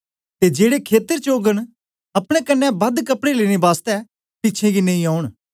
ते जेड़े खेतर च ओगन अपने कन्ने बादे दे कपड़े लेने बासतै पिछें गी नेई औन